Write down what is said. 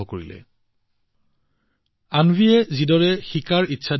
তেওঁলোকে অন্বীক অতি ধৈৰ্য্যৰে কোনবোৰ বস্তু ভাল কোনবোৰ অভ্যাস ভাল এইবোৰ শিকাবলৈ চেষ্টা কৰিছিল